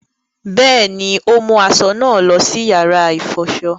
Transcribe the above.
Bẹẹni, o mu aṣọ náà lọ sí yàrá ifọṣọ